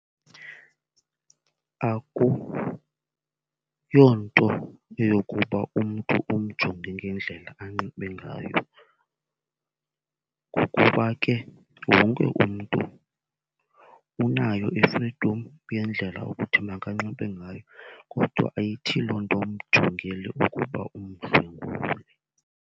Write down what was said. Akuyonto eyokuba umntu umjonge ngendlela anxibe ngayo ngokuba ke wonke umntu unayo i-freedom yendlela ukuthi makanxibe ngayo, kodwa ayithi loo nto umjongele ukuba umdlwengule.